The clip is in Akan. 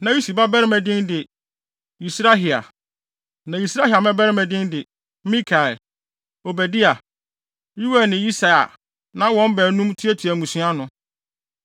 Na Usi babarima din de: Yisrahia. Na Yisrahia mmabarima din de: Mikael, Obadia, Yoel ne Yisia a na wɔn baanum tuatua mmusua ano.